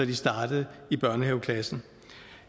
de startede i børnehaveklassen